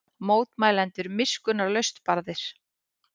Mótmælendur miskunnarlaust barðir